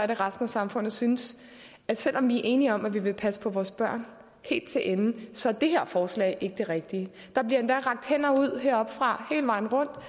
at resten af samfundet synes at selv om vi enige om at vi vil passe på vores børn så er det her forslag ikke det rigtige der bliver endda rakt hænder ud heroppefra hele vejen rundt